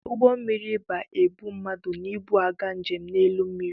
Ụgbọ mmịrị ba-ebu mmadụ na ibu aga njem n'elu mmịrị.